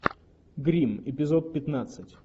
гримм эпизод пятнадцать